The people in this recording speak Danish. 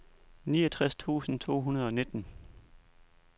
niogtres tusind to hundrede og nitten